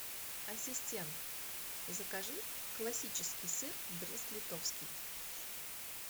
ассистент закажи классический сыр брест литовский